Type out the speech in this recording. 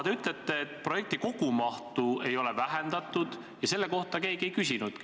Te ütlete, et projekti kogumahtu ei ole vähendatud, aga selle kohta keegi ei küsinudki.